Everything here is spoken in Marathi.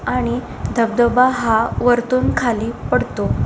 आणि धबधबा हा वरतून खाली पडतो.